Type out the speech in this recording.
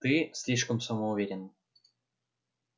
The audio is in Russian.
ты слишком самоуверен